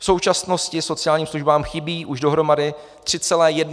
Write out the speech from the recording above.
V současnosti sociálním službám chybí už dohromady 3,1 miliardy korun.